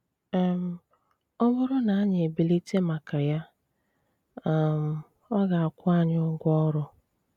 um Ọ̀ bụ́rù na ànyị ebilite màkà ya, um ọ gà-àkwụ́ ànyị ụgwọ ọrụ.